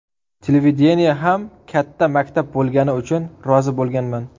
Televideniye ham katta maktab bo‘lgani uchun rozi bo‘lganman.